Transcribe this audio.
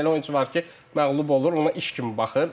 Elə oyunçu var ki, məğlub olur, ona iş kimi baxır.